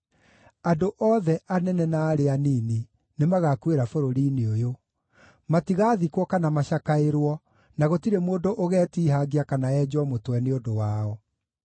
“Andũ othe, anene na arĩa anini, nĩmagakuĩra bũrũri-inĩ ũyũ. Matigaathikwo kana macakaĩrwo, na gũtirĩ mũndũ ũgetiihangia kana enjwo mũtwe nĩ ũndũ wao.